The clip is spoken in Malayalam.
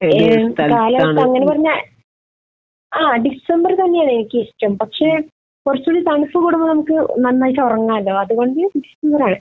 ഏത് കാലാവസ്ഥ അങ്ങനെ പറഞ്ഞാൽ ആഹ് ഡിസംബർ തന്നെയാണ് ഏറ്റവും ഇഷ്ടം. പക്ഷെ കുറച്ച് കൂടെ തണുപ്പ് കൂടുമ്പോൾ നമുക്ക് നന്നായിട്ട് ഉറങ്ങാമല്ലോ. അത് കൊണ്ട് ഡിസംബർ ആണ്.